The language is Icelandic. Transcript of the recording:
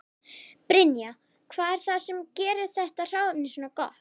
Brynja: Hvað er það sem gerir þetta hráefni svona gott?